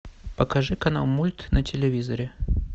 покажи канал мульт на телевизоре